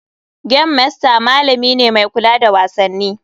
Game master malami ne mai kula da wasanni.